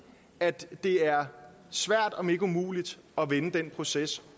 at det er svært om ikke umuligt at vende den proces